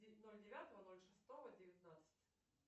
ноль девятого ноль шестого девятнадцать